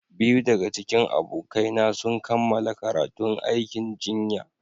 Biyu daga cikin abokaina sun kammala karatun aikin jinya.